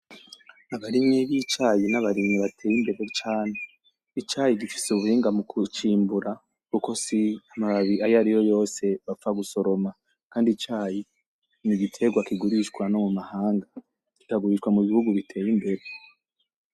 Abarimyi b'icaye ni abarimyi bateye imbere cane icayi gifise ubuhinga mu kucimbura kuko si amababi ayariyo yose bapfa gusoroma kandi icayi ni igitegwa kigurishwa no mumahanga kikagurishwa mubihugu biteye imbere.